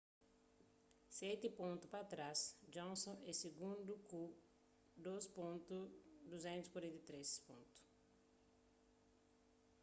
seti pontu pa trás johnson é sigundu ku 2.243